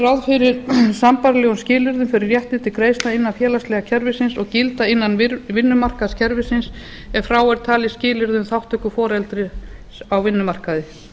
ráð fyrir sambærilegum skilyrðum fyrir rétti til greiðslna innan félagslega kerfisins og gilda innan vinnumarkaðskerfisins ef frá er talið skilyrði um þátttöku foreldris á vinnumarkaði